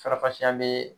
Farafasiya bɛ